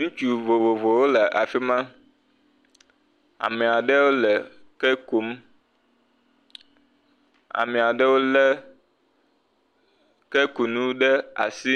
Ŋutsu vovovowo le afi ma. Ame aɖewo le ke kum, ame aɖewo le kekunu ɖe asi,